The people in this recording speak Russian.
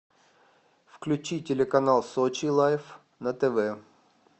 включи телеканал сочи лайв на тв